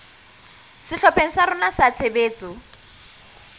sehlopheng sa rona sa tshebetso